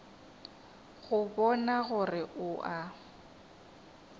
go bona gore o a